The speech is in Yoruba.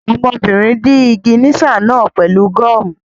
Ọmọbìnrin dí ìgìníṣà náà pẹ̀lú gọ́ọ̀mù